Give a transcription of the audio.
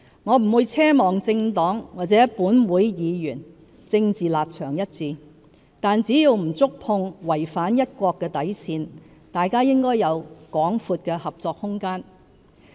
我不會奢望政黨或立法會議員政治立場一致，但只要不觸碰違反"一國"的底線，大家應有廣闊的合作空間。